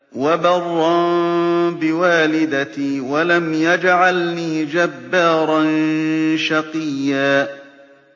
وَبَرًّا بِوَالِدَتِي وَلَمْ يَجْعَلْنِي جَبَّارًا شَقِيًّا